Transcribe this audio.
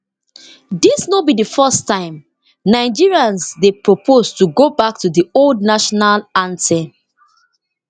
dis no be di first time nigerians dey propose to go back to di old national anthem